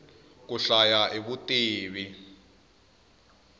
ku hlaya i vutivi